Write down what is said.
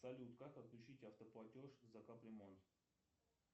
салют как отключить автоплатеж за кап ремонт